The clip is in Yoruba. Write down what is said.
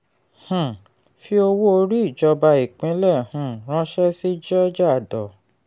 um fi owó orí ìjọba ìpínlè um ránṣẹ́ sí georgia dor.